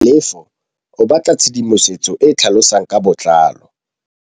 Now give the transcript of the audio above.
Tlhalefô o batla tshedimosetsô e e tlhalosang ka botlalô.